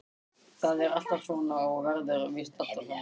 Það er alltaf svona og verður víst alltaf svona.